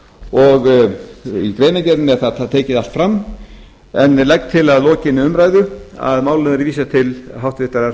og í greinargerðinni er það tekið allt fram ég legg til að lokinni umræðu að málinu verði vísað til háttvirtrar